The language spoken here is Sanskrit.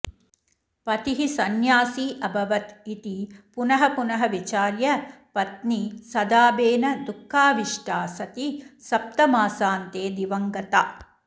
पतिः संन्यासी अभवत् इति पुनः पुनः विचार्य पत्नी सदाबेन दुःखाविष्टा सती सप्तमासान्ते दिवङ्गता